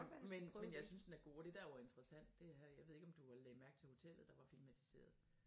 Men men jeg synes den er god og det der jo interessant det er jeg ved ikke om du lagde mærke til hotellet der var filmatiseret